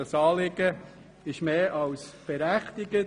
Das Anliegen ist mehr als berechtigt.